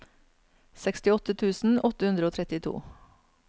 sekstiåtte tusen åtte hundre og trettito